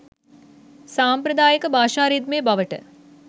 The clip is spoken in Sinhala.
සාම්ප්‍රදායික භාෂා රිද්මය බවට